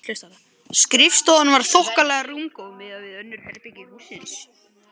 Skrifstofan var þokkalega rúmgóð miðað við önnur herbergi hússins.